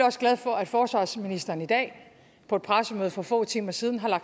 også glad for at forsvarsministeren i dag på et pressemøde for få timer siden har